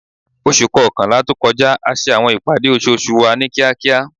Oṣu kọkanla to kọja a ṣe awọn ipade oṣooṣu wa ni kiakia